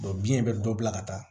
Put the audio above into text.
biɲɛ bɛ dɔ bila ka taa